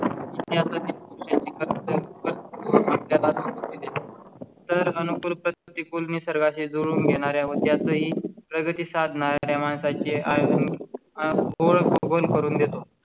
तर अनुकूल प्रतिकूल निसर्गा शी जुळवून घेणार आहे. त्यातही प्रगती साधणारे माणसा चे आहे